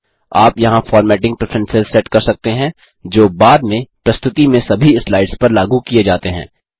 आप यहाँ formatting preferences set कर सकते हैं जो बाद में प्रस्तुति में सभी स्लाइड्स पर लागू किये जाते हैं